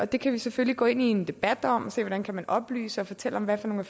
det kan vi selvfølgelig gå ind i en debat om og se hvordan man kan oplyse og fortælle om hvad for hunde